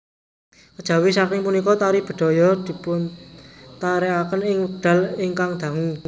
Kejawi saking punika tari bedhaya dipuntarèkaken ing wekdal ingkang dangu